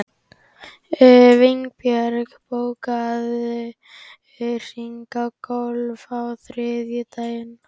Vinbjörg, bókaðu hring í golf á þriðjudaginn.